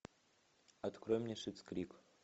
открой мне шиттс крик